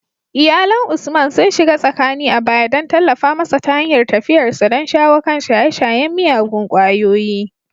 Iyalan Usman sun shiga tsakani a baya don tallafa masa ta hanyar tafiyarsa don shawo kan shaye-shayen miyagun kwayoyi.